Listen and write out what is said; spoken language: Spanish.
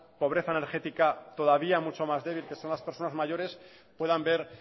pobreza energética todavía mucho más débil que son las personas mayores puedan ver